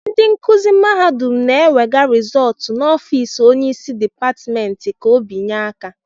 ndị nkuzi mahadum na-enwega rezóótu n'ọfiisi Onye isi dipátimènti ka obinye aka